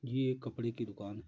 ये एक कपड़े की दुकान है।